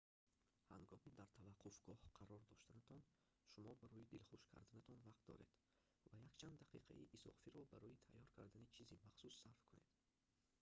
ҳангоми дар таваққуфгоҳ қарор доштанатон шумо барои дилхуш карданатон вақт доред ва якчанд дақиқаи изофиро барои тайёр кардани чизи махсус сарф кунед